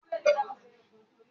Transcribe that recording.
Wa ọkò yen